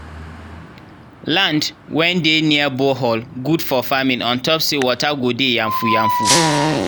land wen dey near borehole gud for farming ontop say water go dey yanfu yanfu